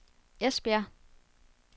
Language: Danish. Esbjerg